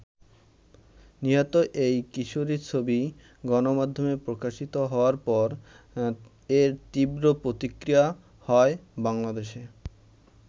নিহত এই কিশোরির ছবি গণমাধ্যমে প্রকাশিত হওয়ার পর এর তীব্র প্রতিক্রিয়া হয় বাংলাদেশে।